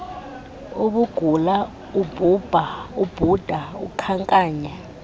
ubugula ubhuda ukhankanya